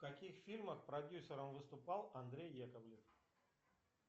в каких фильмах продюсером выступал андрей яковлев